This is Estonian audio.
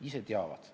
Ise teavad.